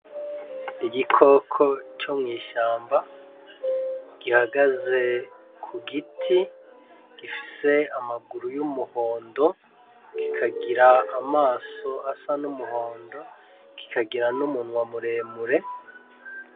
Igikoko co mw'ishamba gihagaze ku giti, gifise amaguru y'umuhondo, kikagira amaso asa n'umuhondo, kikagira n'umunwa muremure.